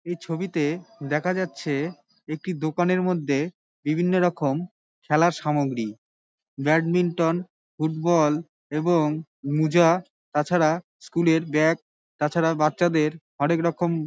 এই ছবিতে- এ দেখা যাচ্ছে একটি দোকানের মধ্যে বিবিন্ন রকম খেলার সামগ্রী ব্যাডমিন্টন ফুটবল এবং মুজা তাছাড়া স্কুল এর ব্যাগ তাছাড়া বাচ্চাদের হরেকরকম--